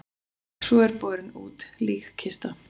Svo er borin út líkkista.